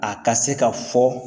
A ka se ka fɔ